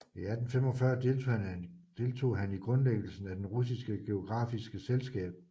I 1845 deltog han i grundlæggelsen af det russiske geografiske selskab